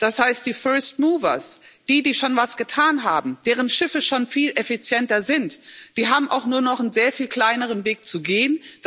Das heißt, die first movers, die schon was getan haben, deren Schiffe schon viel effizienter sind, die haben auch nur noch einen sehr viel kleineren Weg zu gehen.